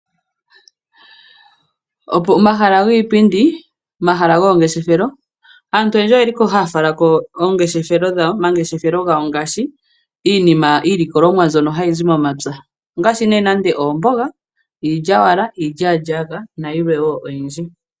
Pomahala giipindi, omahala goongeshefelo, aantu oyendji oye liko haya falako omangeshefelo gawo ngaashi, iilikolomwa mbyono hayi zi momapya ngaashi, oomboga, iilyaalyaaka nayilwe woo oyindji.